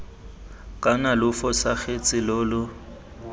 kana lo fosagatse lo lo